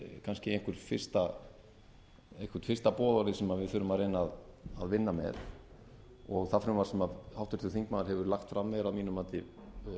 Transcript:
kannski eitthvert fyrsta boðorðið sem við þurfum að reyna að vinna með það frumvarp sem háttvirtur þingmaður hefur lagt fram er að mínu mati